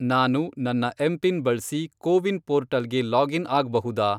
ನಾನು ನನ್ನ ಎಂಪಿನ್ ಬಳ್ಸಿ ಕೋವಿನ್ ಪೋರ್ಟಲ್ಗೆ ಲಾಗಿನ್ ಆಗ್ಬಹುದಾ?